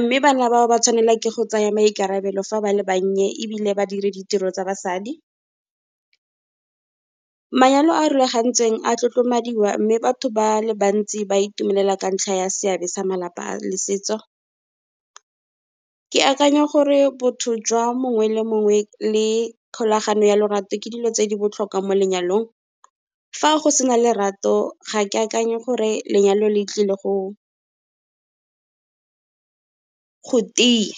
Mme bana bao ba tshwanela ke go tsaya maikarabelo fa ba le bannye ebile ba dire ditiro tsa basadi. Manyalo a a rulagantsweng a tlotlomadiwa, mme batho ba le bantsi ba itumelela ka ntlha ya seabe sa malapa a le setso. Ke akanya gore botho jwa mongwe le mongwe le kgolagano ya lorato, ke dilo tse di botlhokwa mo lenyalong. Fa go sena lerato ga ke akanye gore lenyalo le tlile go tiya.